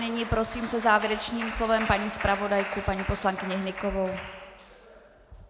Nyní prosím se závěrečným slovem paní zpravodajku, paní poslankyni Hnykovou.